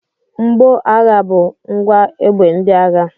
Mgboagha bụ ngwa egbe ndị agha.